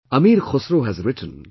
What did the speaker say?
Amir Khusro has written